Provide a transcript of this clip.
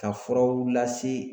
Ka furaw lase